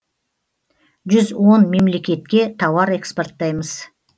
жүз он мемлекетке тауар экспорттаймыз